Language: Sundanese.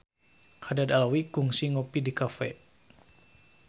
Haddad Alwi kungsi ngopi di cafe